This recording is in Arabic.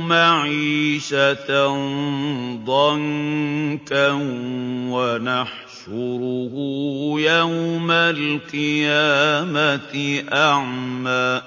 مَعِيشَةً ضَنكًا وَنَحْشُرُهُ يَوْمَ الْقِيَامَةِ أَعْمَىٰ